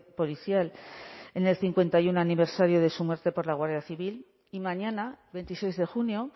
policial en el cincuenta y uno aniversario de su muerte por la guardia civil y mañana veintiséis de junio